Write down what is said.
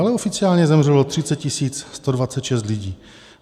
Ale oficiálně zemřelo 30 126 lidí.